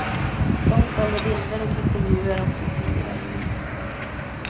De säljer bilder och intervjuer om sitt tidigare liv.